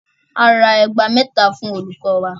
A ra ẹgba mẹ́ta fún olùkọ wa.